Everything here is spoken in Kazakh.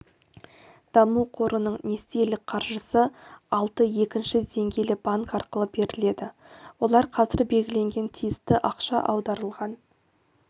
даму қорының несиелік қаржысы алты екінші деңгейлі банк арқылы беріледі олар қазір белгіленген тиісті ақша аударылған